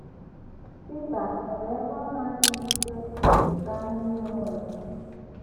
Pita nwere ebe ndị ọ na - adịghị ike, dị ka anyị nile nwere.